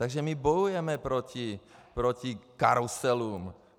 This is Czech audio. Takže my bojujeme proti karuselům.